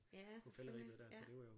Ja selvfølgelig ja